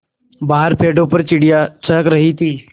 बाहर पेड़ों पर चिड़ियाँ चहक रही थीं